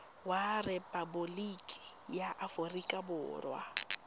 wa rephaboliki ya aforika borwa